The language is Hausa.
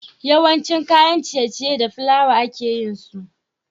Yawanshi kayan ciye ciye da flawa ake yinsu